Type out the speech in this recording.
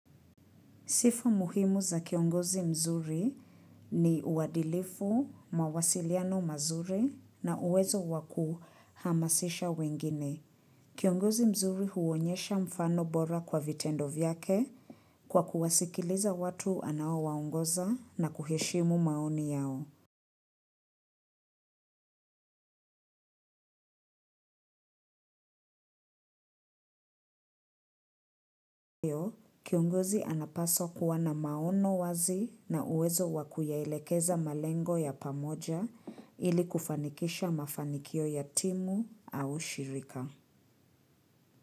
Sifu muhimu za kiongozi mzuri ni uwadilifu mawasiliano mazuri na uwezo waku hamasisha wengine. Kiongozi mzuri huonyesha mfano bora kwa vitendo vyake kwa kuwasikiliza watu anao waongoza na kuheshimu maoni yao. Kiongozi anapaswa kuwa na maono wazi na uwezo wakuyaelekeza malengo ya pamoja ili kufanikisha mafanikio ya timu au shirika.